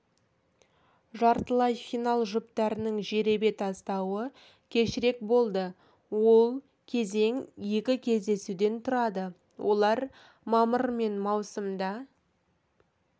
жартылай финал жүптарының жеребе тастауы кешірек болады ол кезең екі кездесуден тұрады олар мамыр мен маусымда